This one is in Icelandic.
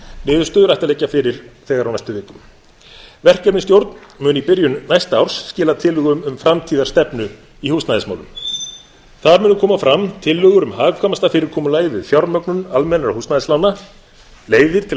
niðurstöður ættu að liggja fyrir á næstu vikum verkefnisstjórn mun í byrjun næsta árs skila tillögum um framtíðarstefnu í húsnæðismálum þar munu koma fram tillögur um hagkvæmasta fyrirkomulagið við fjármögnun almennra húsnæðislána leiðir til að